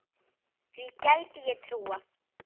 Því gæti ég trúað